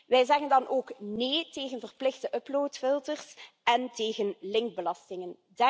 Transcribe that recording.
Wij zeggen dan ook nee tegen verplichte uploadfilters en tegen linkbelastingen.